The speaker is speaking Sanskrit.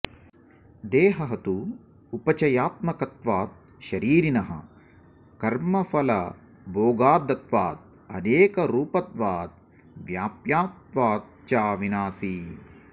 देहः तु उपचयात्मकत्वात् शरीरिणः कर्मफलभोगार्थत्वाद् अनेकरूपत्वाद् व्याप्यत्वात् च विनाशी